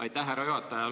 Aitäh, härra juhataja!